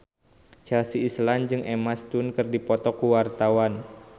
Chelsea Islan jeung Emma Stone keur dipoto ku wartawan